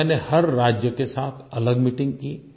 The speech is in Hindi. मैंने हर राज्य के साथ अलग मीटिंग की